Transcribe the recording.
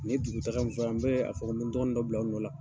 Ni dugutaga min fɔrɔ, n bɛ, a fɔ; n bi dɔgɔnin dɔ bila, o nɔ la.